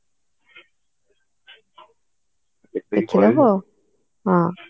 ଦେଖିଦବ ହଁ